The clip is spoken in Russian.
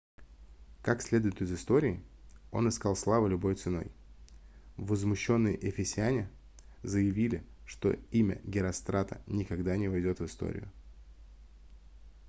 как следует из истории он искал славы любой ценой возмущенные эфесяне заявили что имя герострата никогда не войдет в историю